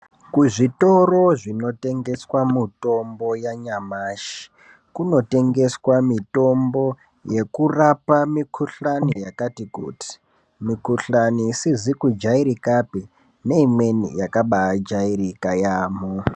Kuzvitoro zvinotengeswa mutombo yanyamashi kunotengeswa mitombo yekurapa mikuhlani yakati kuti. Mikuhlani isizi kujairikapi neimweni yakabaijairika yaamo.